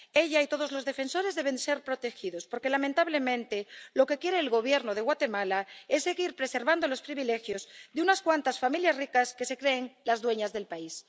Ella y todos los defensores deben ser protegidos, porque lamentablemente lo que quiere el Gobierno de Guatemala es seguir preservando los privilegios de unas cuantas familias ricas que se creen las dueñas del país.